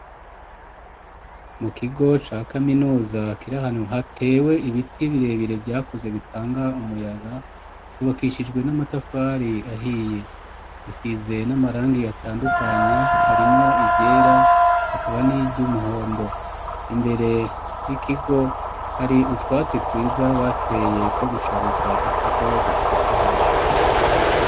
Mu kigo ca kaminuza, kirahanu hatewe ibiti birebire vyakuze bitanga umuyaga, cubakishijwe n'amatafari ahiye, gisize n'amarangi atandukanye harimwo iryera, hakaba n'ivy'umuhondo, imbere y'ikigo hari utwatsi twiza bateye two gushariza ikigo dutotahaye.